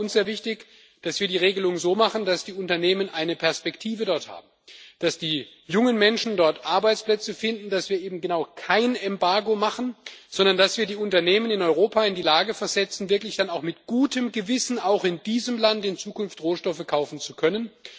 Deswegen war uns sehr wichtig, dass wir die Regelung so machen, dass die Unternehmen dort eine Perspektive haben, dass die jungen Menschen dort Arbeitsplätze finden, dass wir eben genau kein Embargo machen, sondern dass wir die Unternehmen in Europa in die Lage versetzen, dann wirklich mit gutem Gewissen auch in diesem Land in Zukunft Rohstoffe kaufen zu können.